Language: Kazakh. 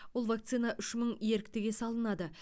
ол вакцина үш мың еріктіге салынады